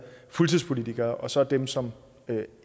fuldtidspolitikere og så er der dem som